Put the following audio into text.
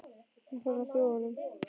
Hún er farin að trúa honum.